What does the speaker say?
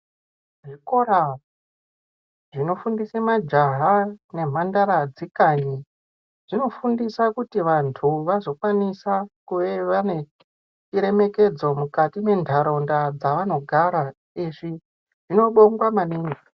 Zvikora zvinofundise majaha namhandara dzekanyi zvinofundisa kuti vanthu vazokwanisa kuve vane chiremekedzo mukati mentharaunda dzavanogara. Izvi zvinobongwa maningi.